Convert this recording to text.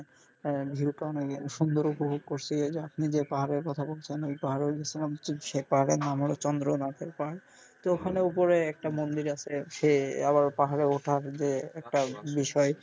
আহ view টাও সুন্দর উপভোগ করসি ওই যে আপনি যে পাহাড়ের কথা বলছেন ওই পাহাড়েও গেছিলাম সেই পাহাড়ের নাম হলো চন্দ্রনাথের পাহাড় তো ওখানে উপরে একটা মন্দির আছে সে আবার পাহাড়ে ওঠা একটা বিষয়.